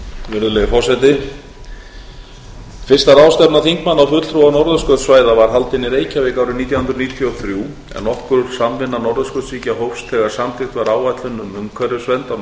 fyrsta ráðstefna þingmanna og fulltrúa norðurskautssvæða var haldin í reykjavík árið nítján hundruð níutíu og þrjú en nokkur samvinna norðurskautsríkja hófst þegar samþykkt var áætlun um umhverfisvernd á